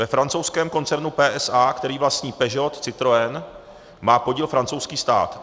Ve francouzském koncernu PSA, který vlastní Peugeot, Citroën, má podíl francouzský stát.